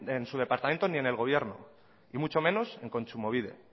en su departamento ni en el gobierno y mucho menos en kontsumobide